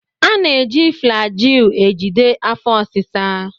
A na-eji Flagyl ejide afọ ọsisa.